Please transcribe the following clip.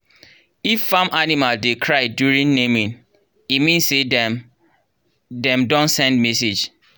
if farm animal dey cry during naming e mean say dem dem don send message